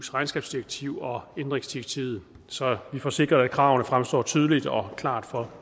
regnskabsdirektiv og ændringsdirektivet så vi får sikret at kravene fremstår tydeligt og klart for